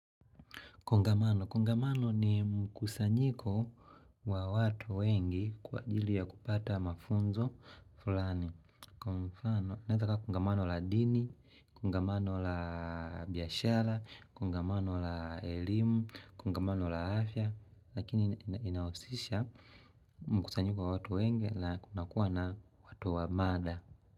Kongamano ni mkusanyiko wa watu wengi kwa ajili ya kupata mafunzo fulani. Kwa mfano unaezakuwa kungamano la dini, kungamano la biashara, kungamano la elimu, kungamano la afya, lakini inausisha mkusanyiko wa watu wengi na kuna kuwa na watu wa mada.